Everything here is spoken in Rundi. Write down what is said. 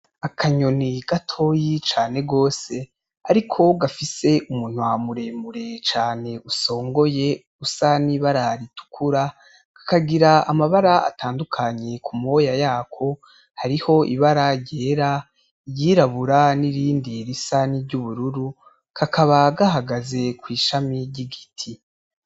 Akanyoni gatoyi cane rwose ariko gafise umunwa muremure cane usongoye usa n'ibara ritukura, kakagira amabara atandukanye ku moya yako: hariho ibara ryera, iryirabura, n'irindi risa niry'ubururu. Kakaba gahagaze kw'ishami ry'igiti.